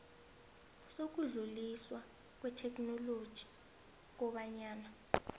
sokudluliswa kwetheknoloji kobanyana